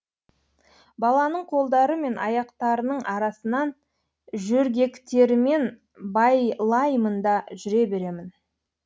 баланың қолдары мен аяқтарының арасынан жөргектерімен байлаймын да жүре беремін